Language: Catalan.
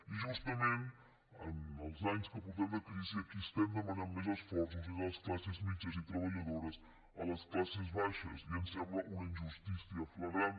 i justament en els anys que portem de crisi a qui estem demanant més esforços és a les classes mitjanes i treballadores a les classes baixes i ens sembla una injustícia flagrant